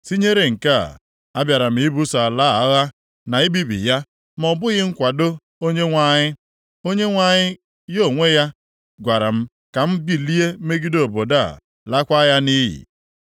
Tinyere nke a, abịara m ibuso ala a agha na ibibi ya ma ọ bụghị nkwado Onyenwe anyị? Onyenwe anyị ya onwe ya gwara m ka m bilie megide obodo a, lakwaa ya nʼiyi.’ ”